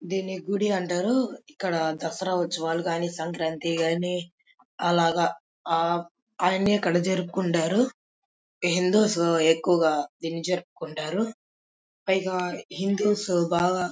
దీని గుడి అంటారు ఇక్కడ దసరా ఉస్తవలు కాని సంక్రాంతి కాని అలాగే అన్ని ఇక్కడ జరుపుకుంటారు హిందుస్ ఎక్కువగా జరుపుకుంటారు పైగా హిందూస్ బాగా --